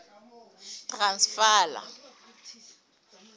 transvala